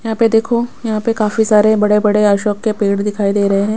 यहाँ पे देखो यहाँ पे काफी सारे बड़े-बड़े अशोक के पेड़ दिखाई दे रहे हैं।